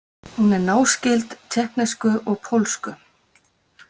Hún er náskyld tékknesku og pólsku.